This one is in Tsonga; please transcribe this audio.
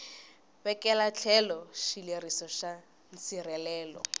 vekela etlhelo xileriso xa nsirhelelo